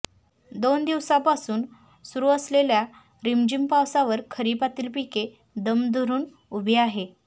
दोन दिवसांपासून सुरू असलेल्या रिमझिम पावसावर खरिपातील पिके दम धरून उभी आहे